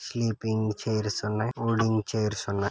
Sleeping chairs ఉన్నాయి folding chairs ఉన్నాయి.